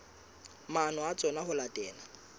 maano a tsona ho latela